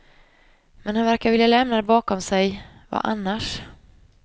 Men han verkar vilja lämna det bakom sig, vad annars.